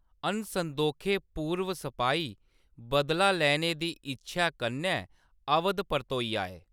अनसंदोखे पूर्व सपाही बदला लैने दी इच्छेआ कन्नै अवध परतोई आए।